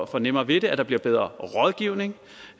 får nemmere ved det at der bliver bedre rådgivning